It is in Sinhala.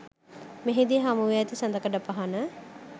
මෙහිදී හමුවී ඇති සඳකඩපහණ